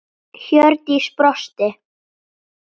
Hjördís brosti.